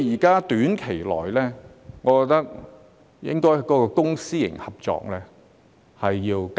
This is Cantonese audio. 在短期內，我認為應該加大公私營合作的空間。